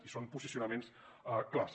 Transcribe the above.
i són posicionaments clars